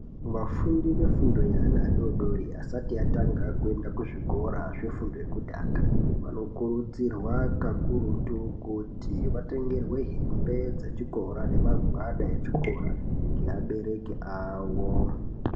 Vafundi vefundo yeana adoodori asati atanga kuenda kuzvikoro zvefundo yekutanga vanokurudzirwa kakurutu kuti vatengerwe hembe dzechikora nemagwada echikora neabereki awo.